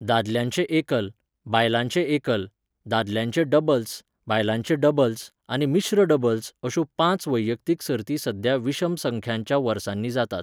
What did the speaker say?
दादल्यांचे एकल, बायलांचे एकल, दादल्यांचे डबल्स , बायलांचे डबल्स आनी मिश्र डबल्स य अश्यो पांच वैयक्तीक सर्ती सध्या विशम संख्यांच्या वर्सांनी जातात.